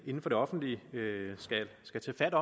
inden for det offentlige skal tage fat